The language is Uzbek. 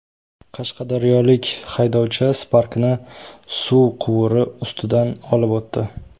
Qashqadaryolik haydovchi Spark’ni suv quvuri ustidan olib o‘tdi .